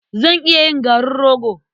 Zan iya yin garin rogo.